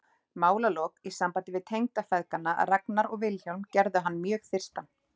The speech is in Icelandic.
Málalok í sambandi við tengdafeðgana Ragnar og Vilhjálm gerðu hann mjög þyrstan.